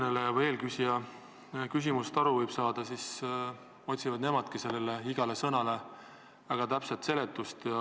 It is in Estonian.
Nii nagu eelküsija küsimusest aru võis saada, otsivad nemadki igale sõnale väga täpset seletust.